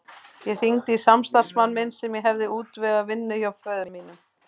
Ég hringdi í samstarfsmann minn sem ég hafði útvegað vinnu hjá föður mínum.